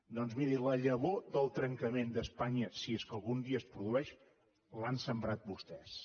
doncs miri la llavor del trencament d’espanya si és que algun dia es produeix l’han sembrat vostès